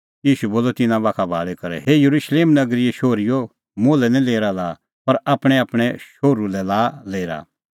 ईशू बोलअ तिन्नां बाखा भाल़ी करै हे येरुशलेम नगरीए शोहरीओ मुल्है निं लेरा लाआ पर आपणैंआपणैं शोहरू लै लाआ लेरा